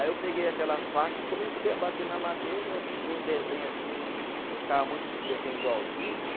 Aí eu peguei aquela faca e comecei a bater na madeira, fiz um desenho assim, gostava muito de desenho do Walt Disney.